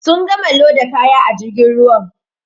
Sun gama loda kaya a jirgin ruwan.